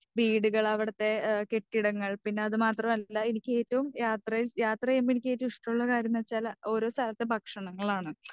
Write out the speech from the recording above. വീടുകൾ അവിടുത്തെ ഏ കെട്ടിടങ്ങൾ പിന്നെ അത് മാത്രം അല്ല എനിക്ക് ഏറ്റവും യാത്രയിൽ യാത്ര ചെയ്യുമ്പോൾ എനിക്ക് ഏറ്റവും ഇഷ്ടമുള്ള കാര്യന്നുവെച്ചാല് ഓരോ സ്ഥലത്തെ ഭക്ഷണങ്ങളാണ്.